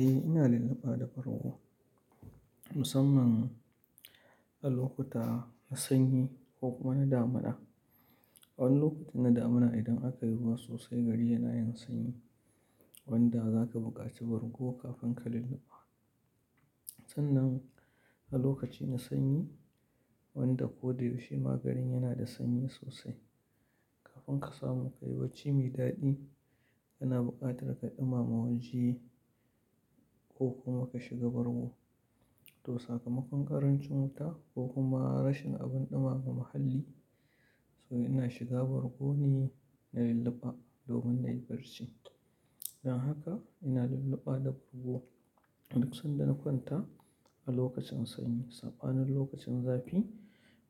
Eh ina lulluɓa da bargo musamman a lokuta na sanyi ko kuma na damuna. A wani lokacin na damuna idan aka yi ruwa sosai gari yana yin sanyi wanda za ka buƙaci bargo kafin ka lulluɓa. Sannan a lokaci na sanyi wanda ko da yaushe ma garin yana da sanyi sosai. Kafin ka samu kayi bacci mai daɗi kana buƙatar ka ɗumama waje ko kuma ka shiga bargo. To sakamakon ƙarancin wuta ko kuma rashin abin ɗumama muhalli so ina shiga bargo ne na lulluɓa domin na yi barci. Dan haka ina lulluɓa da bargo duk sanda na kwanta a lokacin sanyi sabanin na lokacin zafi